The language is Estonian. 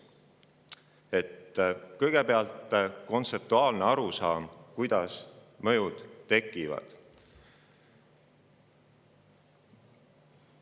Kõigepealt kontseptuaalsest arusaamast, kuidas need mõjud tekivad.